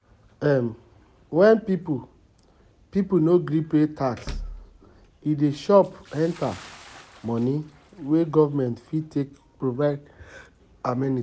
um When people people no gree pay tax e dey chop enter money wey government fit take provide amenities